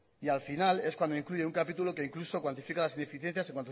y al final es cuando incluye un capítulo que incluso cuantifica las ineficiencias en